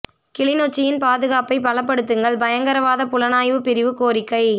கிளிநொச்சியின் பாதுகாப்பைப் பலப்படுத்துங்கள் பயங்கரவாதப் புலனாய்வுப் பிரிவு கோரிக்கை